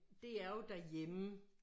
Det er jo derhjemme